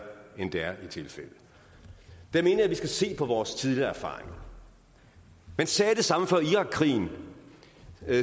end det er jeg mener vi skal se på vores tidligere erfaringer man sagde det samme før irakkrigen